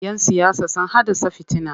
Yan siyasa sun haddasa fitina.